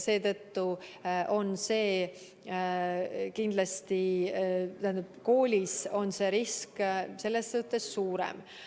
Seetõttu on kindlasti koolis see risk suurem.